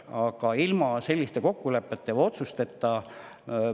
Aga ilma selliste kokkulepete või otsusteta.